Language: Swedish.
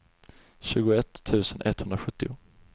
tjugoett tusen etthundrasjuttio